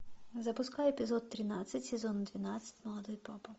запускай эпизод тринадцать сезон двенадцать молодой папа